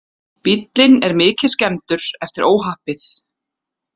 Bíllinn er mikið skemmdur eftir óhappið